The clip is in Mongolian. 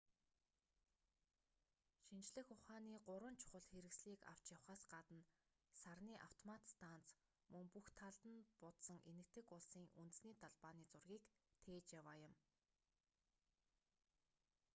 шинжлэх ухааны гурван чухал хэрэгслийг авч явахаас гадна сарны автомат станц мөн бүх талд нь будсан энэтхэг улсын үндэсний далбааны зургийг тээж яваа юм